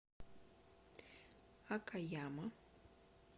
окаяма